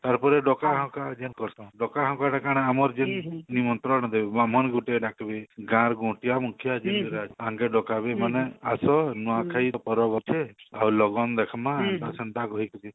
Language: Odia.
ତାର ପରେ ଡକରା ହକରା ଡକରା ହକରା ଟା କାଣା ଆମର ଆମର ଯେ ନିମନ୍ତ୍ରଣ ଦେଉ ବ୍ରାହ୍ମଣ ଗୁଟିଏ ଡାକବେ ଗାଁର ମୁଖିଆ ଯିଏ ତାଙ୍କେ ଡକାବେ ମାନେ ଆସ ନୂଆଖାଇ ପରବ ଅଛି ଆଉ ଲଗନ ଦେଖିମା ଏନ୍ତା ସେନ୍ତା କହିକିରି